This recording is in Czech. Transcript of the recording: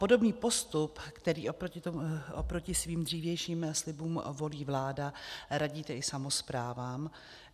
Podobný postup, který oproti svým dřívějším slibům volí vláda, radíte i samosprávám.